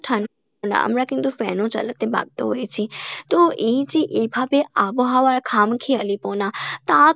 আমরা কিন্তু fan ও চালাতে বাধ্য হয়েছি তো এইযে এইভাবে আবহাওয়ায় খামখেয়ালি পনা তা